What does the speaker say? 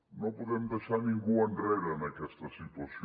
no podem deixar ningú enrere en aquesta situació